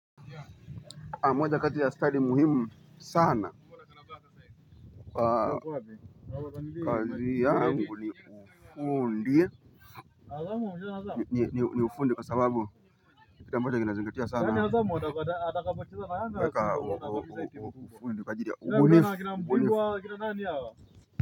A moja kati ya study muhimu sana. Kaji ya yangu ni ufundi. Ni ufundi kwa sababu kile ambacho kina zingatia sana weka ufundi kwa ajiri ya ubunifu.